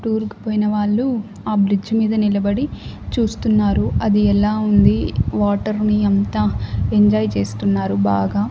Tour కు పోయిన వాళ్ళు ఆ బ్రిడ్జి మీద నిలబడి చూస్తున్నారు అది ఎలా ఉంది వాటర్ ని అంతా ఎంజాయ్ చేస్తున్నారు బాగా.